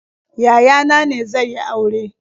Yaya na ne zai yi aure.